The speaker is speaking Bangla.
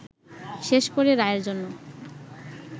শেষ করে রায়ের জন্য